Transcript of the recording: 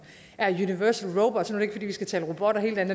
er universal robots nu ikke fordi vi skal tale robotter hele dagen